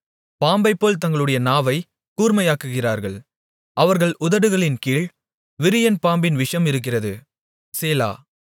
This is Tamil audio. பாம்பைப்போல் தங்களுடைய நாவை கூர்மையாக்குகிறார்கள் அவர்கள் உதடுகளின்கீழ் விரியன் பாம்பின் விஷம் இருக்கிறது சேலா